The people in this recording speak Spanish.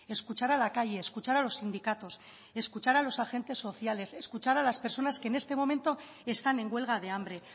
escuchar a la calle escuchar a los sindicatos escuchar a los agentes sociales escuchar a las personas que en este momento están en huelga de hambre